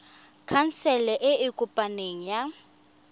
khansele e e kopaneng ya